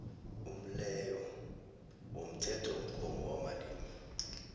umleyo womthethomgomo wamalimi